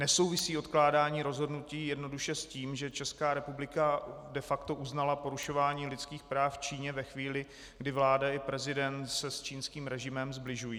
Nesouvisí odkládání rozhodnutí jednoduše s tím, že Česká republika de facto uznala porušování lidských práv v Číně ve chvíli, kdy vláda i prezident se s čínským režimem sbližují?